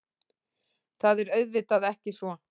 Það er auðvitað ekki svo